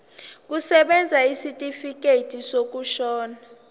kusebenza isitifikedi sokushona